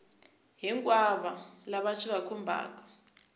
hinkwavo lava swi va khumbhaka